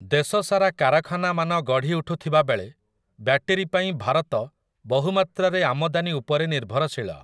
ଦେଶ ସାରା କାରଖାନାମାନ ଗଢ଼ିଉଠୁଥିବା ବେଳେ, ବ୍ୟାଟେରୀ ପାଇଁ ଭାରତ ବହୁମାତ୍ରାରେ ଆମଦାନୀ ଉପରେ ନିର୍ଭରଶୀଳ ।